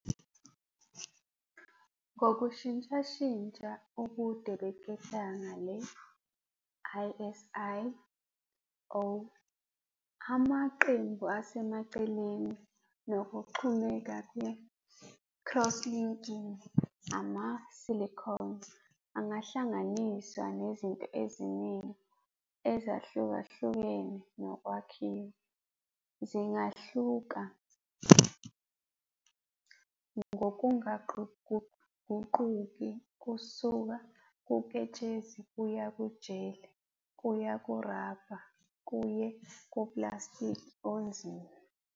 Ngokushintshashintsha ubude beketanga le-iSi - O-, amaqembu asemaceleni, nokuxhumeka kwe-crosslinking, ama-silicone angahlanganiswa nezinto eziningi ezahlukahlukene nokwakhiwa. Zingahluka ngokungaguquguquki kusuka kuketshezi kuya ku-gel kuye kuraba kuye kupulasitiki onzima.